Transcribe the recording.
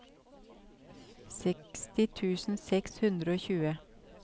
seksti tusen seks hundre og tjue